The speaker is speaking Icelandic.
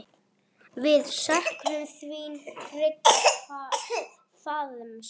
Við söknum þíns trygga faðms.